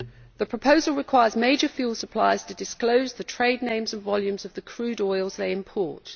The proposal requires major fuel suppliers to disclose the trade names and volumes of the crude oils they import.